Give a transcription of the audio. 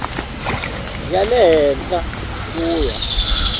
ya le henhla ku ya